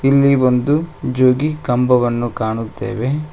ಇಲ್ಲಿ ಒಂದು ಜೋಗಿ ಕಂಬವನ್ನು ಕಾಣುತ್ತೆವೆ.